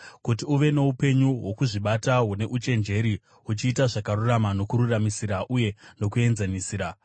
kuti uve noupenyu hwokuzvibata hune uchenjeri uchiita zvakarurama nokururamisira uye nokuenzanisira;